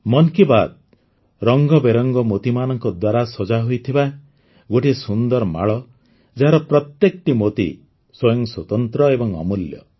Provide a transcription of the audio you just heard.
ମନ୍ କି ବାତ୍ ରଙ୍ଗବେରଙ୍ଗ ମୋତିମାନଙ୍କ ଦ୍ୱାରା ସଜାହୋଇଥିବା ଗୋଟିଏ ସୁନ୍ଦର ମାଳ ଯାହାର ପ୍ରତ୍ୟେକଟି ମୋତି ସ୍ୱୟଂ ସ୍ୱତନ୍ତ୍ର ଏବଂ ଅମୂଲ୍ୟ